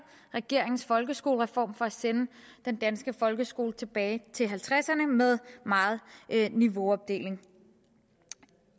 regeringens folkeskolereform for at sende den danske folkeskole tilbage til nitten halvtredserne med meget niveauopdeling